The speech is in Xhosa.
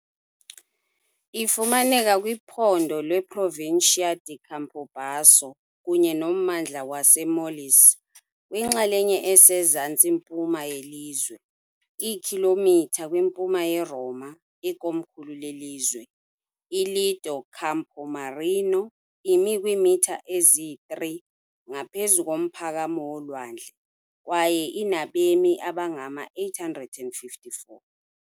Ifumaneka kwiphondo leProvincia di Campobasso kunye nommandla waseMolise, kwinxalenye esezantsi-mpuma yelizwe, iikhilomitha kwimpuma yeRoma, ikomkhulu lelizwe. ILido Campomarino imi kwiimitha ezi-3 ngaphezu komphakamo wolwandle, kwaye inabemi abangama-854.